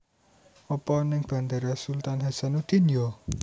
Opo ning Bandara Sultan Hassanudin yo?